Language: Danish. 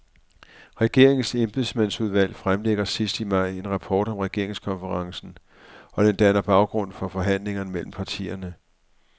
Regeringens embedsmandsudvalg fremlægger sidst i maj en rapport om regeringskonferencen, og den danner baggrund for forhandlingerne mellem partierne.